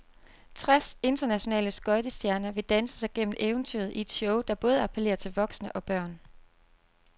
Tres internationale skøjtestjerner vil danse sig gennem eventyret i et show, der både appellerer til voksne og børn.